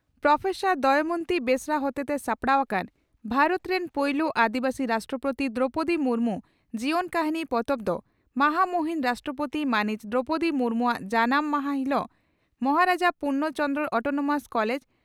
professor Damayanti Besra ᱦᱚᱛᱮᱛᱮ ᱥᱟᱯᱲᱟᱣ ᱟᱠᱟᱱ "ᱵᱷᱟᱨᱚᱛ ᱨᱤᱱ ᱯᱩᱭᱞᱩ ᱟᱹᱫᱤᱵᱟᱹᱥᱤ ᱨᱟᱥᱴᱨᱚᱯᱳᱛᱤ ᱫᱨᱚᱣᱯᱚᱫᱤ ᱢᱩᱨᱢᱩ (ᱡᱤᱭᱚᱱ ᱠᱟᱹᱦᱱᱤ)" ᱯᱚᱛᱚᱵ ᱫᱚ ᱢᱟᱦᱟᱢᱩᱦᱤᱱ ᱨᱟᱥᱴᱨᱚᱯᱳᱛᱤ ᱢᱟᱹᱱᱤᱡ ᱫᱨᱚᱣᱯᱚᱫᱤ ᱢᱩᱨᱢᱩᱣᱟᱜ ᱡᱟᱱᱟᱢ ᱦᱟᱥᱟ ᱦᱤᱞᱚᱜ ᱢᱚᱦᱟᱨᱟᱡᱟ ᱯᱩᱨᱱᱚ ᱪᱚᱱᱫᱽᱨᱚ (ᱚᱴᱚᱱᱚᱢᱟᱥ) ᱠᱚᱞᱮᱡᱽ